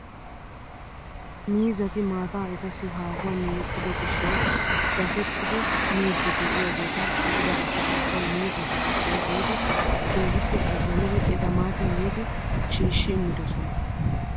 Miizzati maataa etassi haahuwaan yegido giishshawu daafettidi miidi de'iyaageta be'ida asay ubbay miizatu giishshawu giidi keehippe azanidi eta maati yiidi shiishi imidoosona!